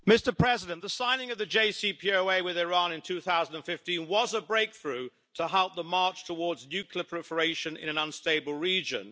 Mr President, the signing of the JCPOA with Iran in 2015 was a breakthrough to halt the march towards nuclear proliferation in an unstable region.